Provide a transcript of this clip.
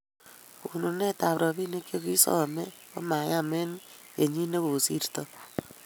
kakonunetab robinik che kisomei ko mayem eng' kenyi ne kosirtoi